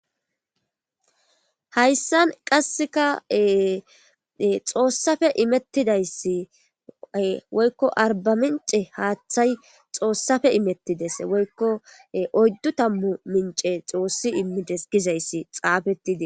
hayssan qasseka xoossafe imettidayssiae woykko arbamence haaththay xoossafe imettides woykko oyddu tammu mince xoossi immides gizayssi xaafetide